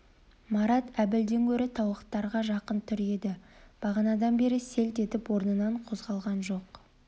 марат әбілден гөрі тауықтарға жақын тұр еді бағанадан бері селт етіп орнынан қозғалған жоқ